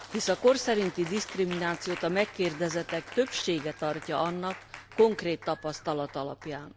Hisz a kor szerinti diszkriminációt a megkérdezettek többsége tartja annak, konkrét tapasztalat alapján.